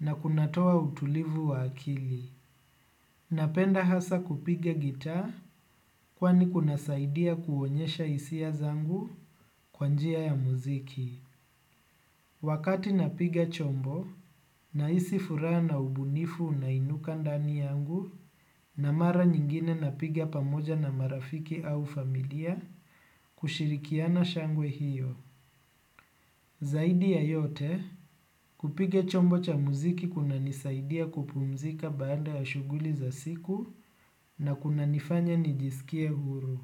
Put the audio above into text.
na kunatoa utulivu wa akili. Napenda hasa kupiga gitaa kwani kunasaidia kuonyesha hisia zangu kwa njia ya muziki. Wakati napiga chombo nahisi furaha na ubunifu unainuka ndani yangu na mara nyingine napiga pamoja na marafiki au familia kushirikiana shangwe hiyo. Zaidi ya yote, kupiga chombo cha muziki kunanisaidia kupumzika baada ya shughuli za siku na kunanifanya nijisikie huru.